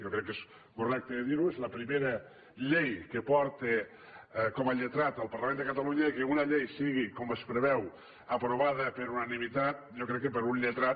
jo crec que és correcte dirho és la primera llei que porta com a lletrat al parlament de catalunya i que una llei sigui com es preveu aprovada per unanimitat jo crec que per a un lletrat